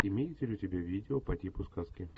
имеется ли у тебя видео по типу сказки